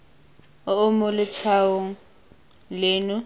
o o mo letshwaong leno